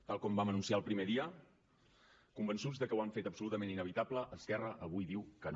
tal com vam anunciar el primer dia convençuts de que ho han fet absolutament inevitable esquerra avui diu que no